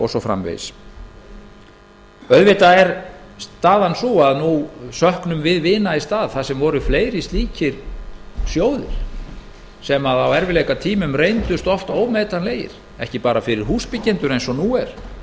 og svo framvegis auðvitað er staðan sú að nú söknum við vina í stað þar sem voru fleiri slíkir sjóðir sem á erfiðleikatímum reyndust oft ómetanlegir ekki bara fyrir húsbyggjendur eins og nú er